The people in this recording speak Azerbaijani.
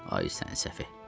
Ay sən səfeh.